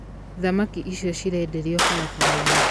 Thamaki icio cirendĩrwo barabarainĩ.